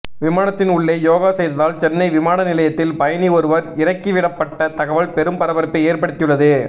விமானத்தின் உள்ளே யோகா செய்ததால் சென்னை விமான நிலையத்தில் பயணி ஒருவர் இறக்கிவிடப்பட்ட தகவல் பெரும் பரபரப்பை ஏற்படுத்தியுள்ளது